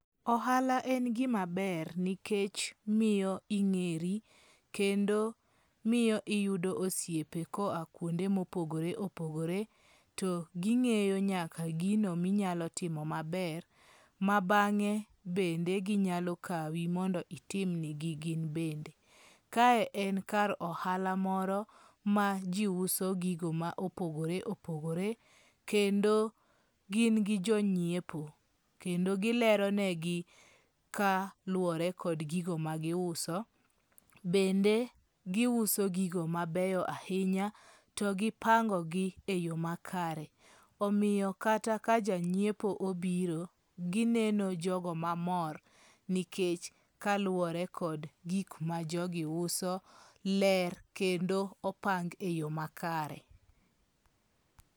Ohala en gimaber nikech miyo ing'eri, kendo miyo iyudo osiepe koa kuonde mopogore opogore, to ging'eyo nyaka gino minyalo timo maber, ma bang'e bende ginyalo kawi mondo itim nigi gin bende. Kae en kar ohala moro maji uso gigo ma opogore opogore, kendo gin gi jonyiepo. Kendo gileronegi kaluwore kod gigo ma giuso. Bende giuso gigo mabeyo ahinya to gipangogi eyo makare. Omiyo kata ka janyiepo obiro, gineno jogo mamor nikech kaluwore kod gik ma jogi uso, ler kendo opang eyo makare.